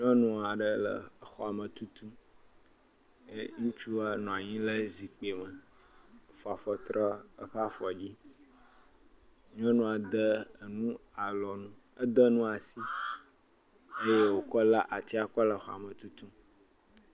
Nyɔnu aɖe le xɔ me tutum eye ŋutsua nɔ anyi le zikpe me fɔ afɔ trɔ eƒe afɔ dzi. Nyɔnua de enu asi eye wokɔ le atsia kɔle xɔa me tutum.